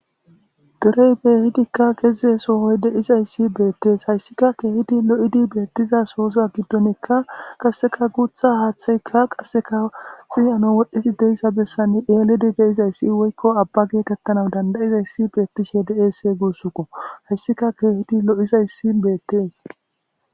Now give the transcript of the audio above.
Derey beehidikka geze soohoy de'izayssi beettees hayssika keehidi lo'idi beettiza sooza giddonekka qasseka guuththa haaththeyka qasseka xiyano wodhdhiti de'iza bessan eelidi de'izayssi woykko abba geekettana dandayizayssi beettishe de'eesse guussukko hayssika keehidi lo'izayssi beettes